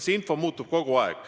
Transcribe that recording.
See info muutub kogu aeg.